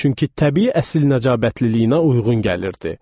Çünki təbii əsil nəcabətliyinə uyğun gəlirdi.